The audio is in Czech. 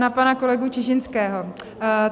Na pana kolegu Čižinského.